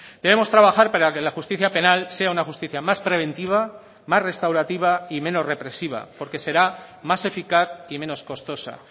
debemos trabajar para que la justicia penal sea una justicia más preventiva más restaurativa y menos represiva porque será más eficaz y menos costosa